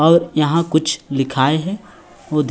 और यहाँ कुछ लिखाय हे वो दिख--